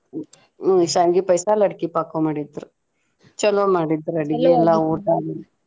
ಹ್ಮ್ ಶ್ಯಾವ್ಗಿ ಪಾಯ್ಸ, ಲಡಕಿ ಪಾಕಾ ಮಾಡಿದ್ರು ಚೊಲೋ ಮಾಡಿದ್ರು ಊಟಾನು.